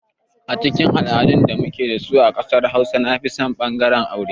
A cikin al'adun da muke da su a ƙasar hausawa nafison ɓangaren aure.